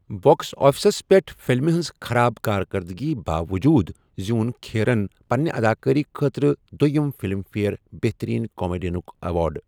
Box آفسس پٮ۪ٹھ فلمہِ ہنٛز خراب کارکردٕگی باووٚجوٗد زیوٗن کھیرَن پننہِ اداکٲری خٲطرٕ دۄیِم فلم فیئر بہترین کامیڈینُک ایوارڈ۔